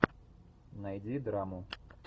найди драму